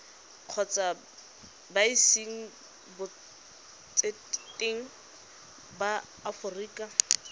kgotsa embasing botseteng ba aforika